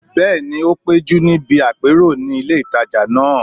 Bẹ́ẹ̀ni, o péjú níbi àpérò ní ilé ìtajà náà